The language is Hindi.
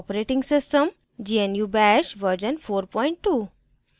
gnu bash version 42